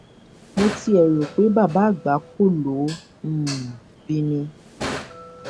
mo tiẹ rò pé bàbá àgbákò ló um bí i ni